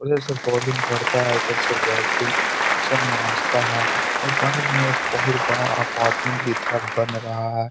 उधर से बोलिंग करता है इधर से बेटिंग सब है और बगल में एक बहुत बड़ा अपार्टमेंट की तरफ बन रहा है।